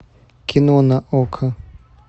кино на окко